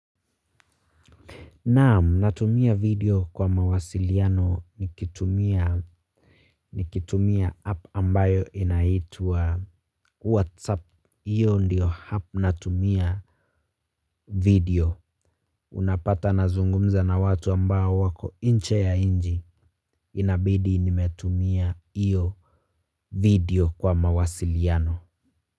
Naam, natumia video kwa mawasiliano nikitumia app ambayo inaitwa whatsapp. Iyo ndio app natumia video. Unapata nazungumza na watu ambao wako nje ya nchi. Inabidi nimetumia iyo video kwa mawasiliano.